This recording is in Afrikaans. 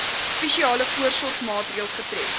spesiale voorsorgmaatreëls getref